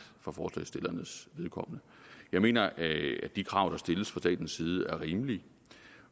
fra forslagsstillernes vedkommende jeg mener at de krav der stilles fra statens side er rimelige